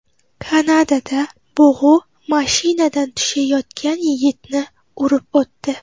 Kanadada bug‘u mashinadan tushayotgan yigitni urib o‘tdi.